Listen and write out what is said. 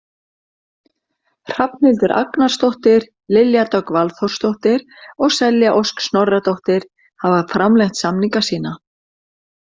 Hrafnhildur Agnarsdóttir, Lilja Dögg Valþórsdóttir og Selja Ósk Snorradóttir hafa framlengt samninga sína.